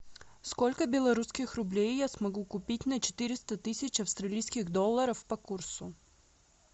сколько белорусских рублей я смогу купить на четыреста тысяч австралийских долларов по курсу